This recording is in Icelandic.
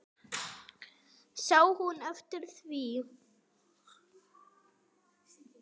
Sá hún eftir því?